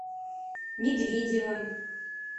медведевым